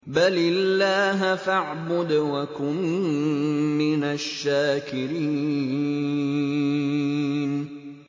بَلِ اللَّهَ فَاعْبُدْ وَكُن مِّنَ الشَّاكِرِينَ